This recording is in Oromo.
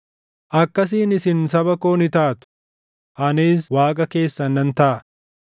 ‘Akkasiin isin saba koo ni taatu; anis Waaqa keessan nan taʼa.’ ”